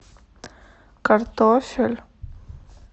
картофель